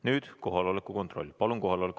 Nüüd palun kohaloleku kontroll!